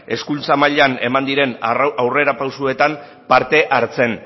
hezkuntza mailan eman diren aurrerapausoetan parte hartzen